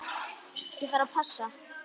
Ég þarf að passa.